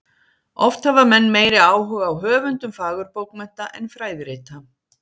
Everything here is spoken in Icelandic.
Oft hafa menn meiri áhuga á höfundum fagurbókmennta en fræðirita.